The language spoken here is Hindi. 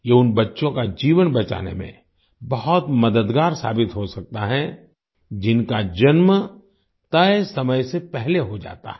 ये उन बच्चों का जीवन बचाने में बहुत मददगार साबित हो सकता है जिनका जन्म तय समय से पहले हो जाता है